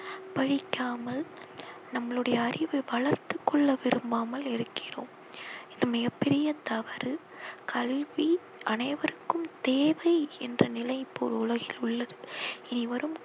படிக்காமல் நம்மளுடைய அறிவை வளர்த்துக்கொள்ள விரும்பாமல் இருக்கிறோம். இது மிகப் பெரிய தவறு கல்வி அனைவருக்கும் தேவை என்ற நிலை இப்போது உலகில் உள்ளது. இனிவரும்